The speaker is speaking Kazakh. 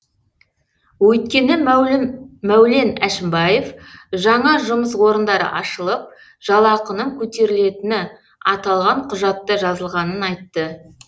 өйткені мәулен әшімбаев жаңа жұмыс орындары ашылып жалақының көтерілетіні аталған құжатта жазылғанын айтты